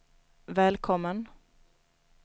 välkommen